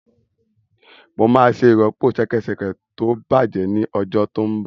Mo máa ṣe ìrọ́pò ṣẹkẹ́ṣẹkẹ̀ tó bàjẹ́ ní ọjọ́ tó ń bọ̀